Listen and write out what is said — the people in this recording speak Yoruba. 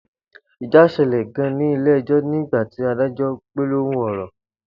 Ija sele gan in ile ejo ni gba ti ìdájọ gbólóhùn oro